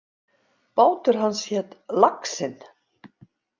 Bátur hans hét Laxinn.